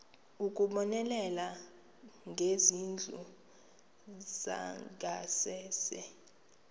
ukubonelela ngezindlu zangasese